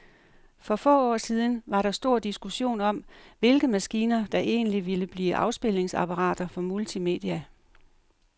For få år siden var der stor diskussion om, hvilke maskiner, der egentlig ville blive afspilningsapparater for multimedia.